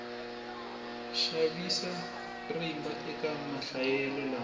xavisa rimba eka mahlayelo lama